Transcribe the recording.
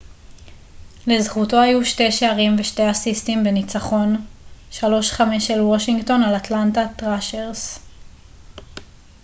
לזכותו היו 2 שערים ו-2 אסיסטים בניצחון 5 - 3 של וושינגטון על אטלנטה ת'ראשרס